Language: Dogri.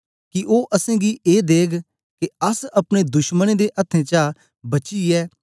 कि ओ असेंगी ए देग के अस अपने दुशमनें दे अथ्थें चा बचीये